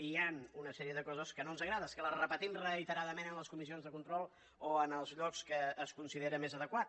i hi han una sèrie de coses que no ens agrada que les repetim reiteradament en les comissions de control o en els llocs que es considera més adequat